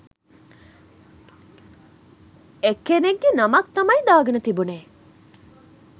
එක්කෙනෙක්ගෙ නමක් තමයි දාගෙන තිබුනෙ